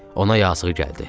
Ona yazığı gəldi.